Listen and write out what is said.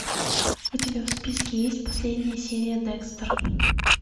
у тебя в списке есть последняя серия декстер